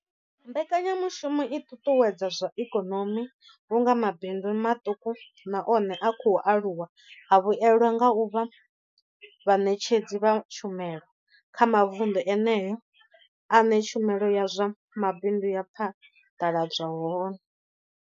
Mbekanyamushumo i ṱuṱuwedza zwa ikonomi vhunga mabindu maṱuku na one a khou aluwa a vhuelwa nga u vha vhaṋetshedzi vha tshumelo kha mavundu eneyo ane tshumelo ya zwa mabindu ya phaḓaladzwa hone.